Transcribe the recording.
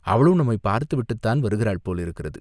அவளும் நம்மைப் பார்த்து விட்டுத்தான் வருகிறாள் போலிருக்கிறது!